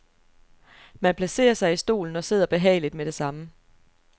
Man placerer sig i stolen og sidder behageligt med det samme.